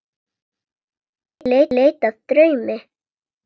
Í leit að draumi.